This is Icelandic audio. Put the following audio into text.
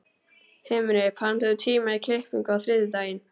Himri, pantaðu tíma í klippingu á þriðjudaginn.